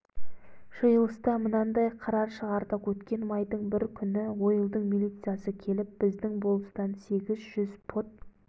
жиылыста мынандай қарар шығардық өткен майдың бірі күні ойылдың милициясы келіп біздің болыстан сегіз жүз пұт